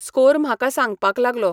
Score म्हाका सांगपाक लागलो.